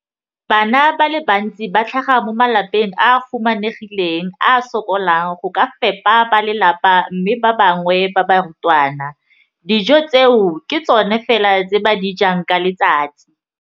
Bana ba le bantsi ba tlhaga mo malapeng a a humanegileng a a sokolang go ka fepa ba lelapa mme ba bangwe ba barutwana, dijo tseo ke tsona fela tse ba di jang ka letsatsi.